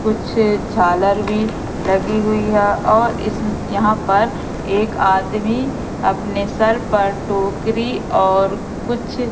कुछ झालर भी लगीं हुई है और इस यहां पर एक आदमी अपने सर पर टोकरी और कुछ--